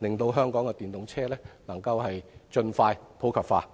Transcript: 令香港的電動車能夠盡快普及化。